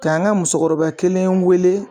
K'an ka musokɔrɔba kelen weele